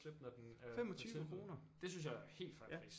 Slippe når den er på tilbud ja